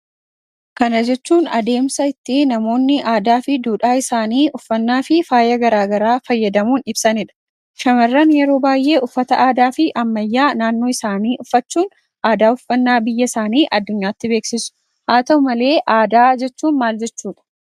Kana jechuun adeemsa ittiin namoonni aadaa fi duudha isaanii uffannaa fi faayaa garagaraa fayyadamuun ibsanidha. Dubartoonni yeroo baay'ee uffata aadaa fi ammayyaa isaani uffachuun aadaa uffannaa isaanii addunyaatti mul'isu. Haa ta'u malee aadaa jechuun maal jechuudha?